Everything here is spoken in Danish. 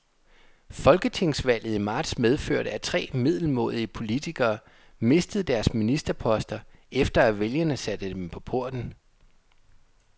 Folketingsvalget i marts medførte, at tre middelmådige politikere mistede deres ministerposter, efter at vælgerne satte dem på porten.